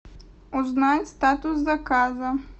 узнай статус заказа